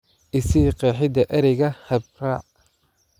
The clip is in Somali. I sii qeexida ereyga hab-raac